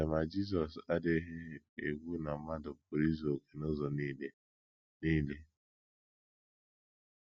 Ee, ma Jizọs adịghị ekwu na mmadụ pụrụ izu okè n’ụzọ nile. nile.